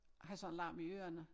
Har sådan larm i ørerne